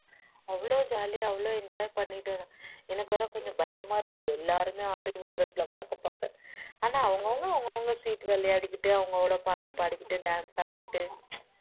அவ்வளவு ஜாலியா அவ்வளவு enjoy பண்ணிட்டு எனக்கு வேற கொஞ்சம் பயமா இருந்தது எல்லாருமே army dress ல பாக்க பாக்க ஆனா அவங்க அவங்க சீட்டு விளையாடிகிட்டு அவங்களோட பாட்டு பாடிகிட்டு dance ஆடிகிட்டு